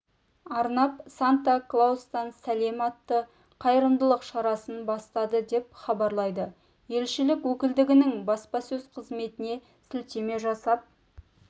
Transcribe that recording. арнап санта клаустан сәлем атты қайырымдылық шарасын бастады деп хабарлайды елшілік өкілдігінің баспасөз-қызметіне сілтеме жасап